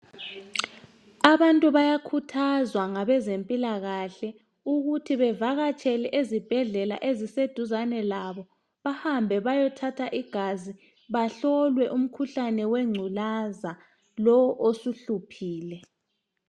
Abantu bayakhuthazwa ngabezempilakahle ukuthi bavakatshele ezibhedlela eziseduzane labo bahambe bayethatha igazi bahlolwe umkhuhlane wengculaza lo osuhluphile.